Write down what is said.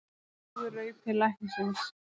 Hún trúir raupi læknisins.